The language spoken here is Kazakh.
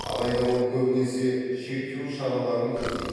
алайда ол көбінесе шектеу шараларан көздейді